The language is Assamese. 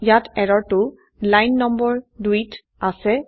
ইয়াত এৰৰ টো লাইন নম্বৰ২ত আছে